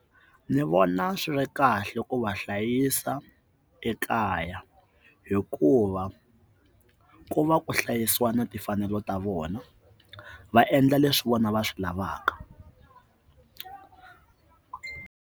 Ndzi vona swi ri kahle ku va hlayisa ekaya hikuva ku va ku hlayisiwa na timfanelo ta vona va endla leswi vona va swi lavaka.